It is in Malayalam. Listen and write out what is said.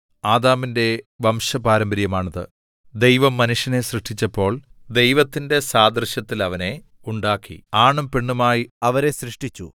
ആദാമിന്റെ വംശപാരമ്പര്യമാണിത് ദൈവം മനുഷ്യനെ സൃഷ്ടിച്ചപ്പോൾ ദൈവത്തിന്റെ സാദൃശ്യത്തിൽ അവനെ ഉണ്ടാക്കി ആണും പെണ്ണുമായി അവരെ സൃഷ്ടിച്ചു